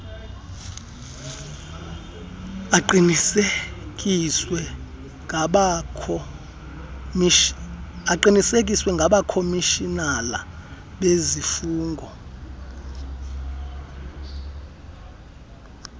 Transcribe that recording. aqinisekiswe ngabakhomishinala bezifungo